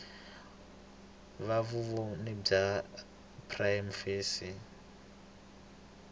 va vumbhoni bya prima facie